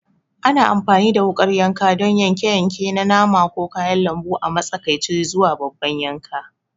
Ana amfani da wukar yanka don yanke-yanke na nama ko kayan lambu a matsakaici zuwa babban yanka.